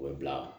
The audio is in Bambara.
O bɛ bila